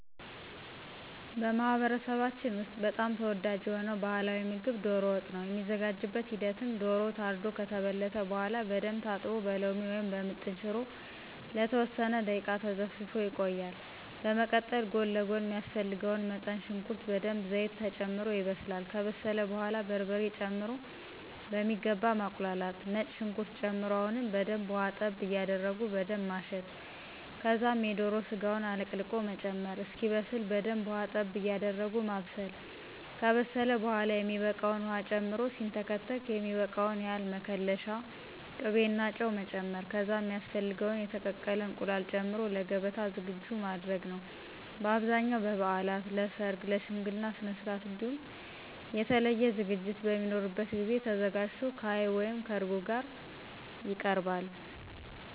በማህበረሰባችን ውስጥ በጣም ተወዳጅ የሆነው ባህላዊ ምግብ ዶሮ ወጥ ነው። የሚዘጋጅበት ሂደትም ዶሮው ታርዶ ከተበለተ በኃላ በደንብ ታጥቦ በሎሚ ወይም በምጥን ሽሮ ለተወሰነ ደቂቃ ተዘፍዝፎ ይቆያል፤ በመቀጠል ጎን ለጎን ሚያስፈልገው መጠን ሽንኩርት በደንብ ዘይት ተጨምሮ ይበስላል፤ ከበሰለ በኃላ በርበሬ ጨምሮ በሚገባ ማቁላላት፤ ነጭ ሽንኩርት ጨምሮ አሁንም በደንብ ውሀ ጠብ ያደረጉ በደንብ ማሸት ከዛም የዶሮ ስጋውን አለቅልቆ መጨመር፣ እስኪበስ በደንብ ውሃ ጠብ ያደረጉ ማብሰል፤ ከበሰለ በኃላ የሚበቃውን ዉሃ ጨምሮ ሲንተከተክ የሚበቃውን ያህል መከለሻ፣ ቅቤና ጨው መጨመር ከዛም ሚያስፈልገውን የተቀቀለ እንቁላል ጨምሮ ለገበታ ዝግጁ ማድረግ ነዉ። በአብዛኛው በበዓላት፣ ለሠርግ፣ ለሽምግልና ስነስርዓት እንዲሁም የተለየ ዝግጅት በሚኖርበት ጊዜ ተዘጋጅቶ ከዐይብ(ከእርጎ) ጋር ይቀርባል።